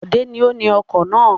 Bọ̀dé ni ó ni ọkọ̀ náà.